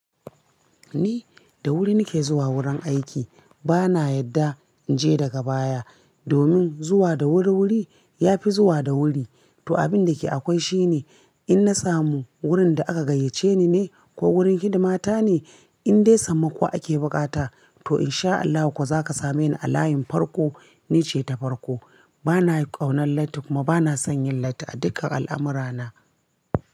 Ni da wuri nake zuwa wurin aiki. Bana yadda in je daga baya. Domin zuwa da wuri wuri yafi zuwa da wuri. To abinda ke akwai shine in na samu wurin da aka gayyace ni ne ko wurin hidima ta ne, in dai sammako ake bukata to in sha Allahu kuwa zaka same ni a layin farko. Nice ta farko. Bana ƙaunar latti kuma bana son yin latti a dukkan al'amurana.